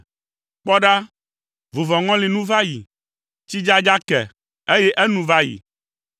Kpɔ ɖa, vuvɔŋɔli nu va yi, tsidzadza ke, eye enu va yi.